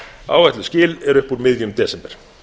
áætluð skil eru upp úr miðjum desember